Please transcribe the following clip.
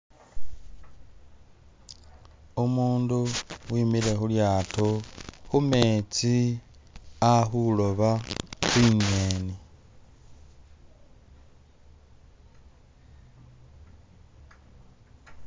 Umundu wimile khu lyaato khumetsi ali khuloba tsinyeni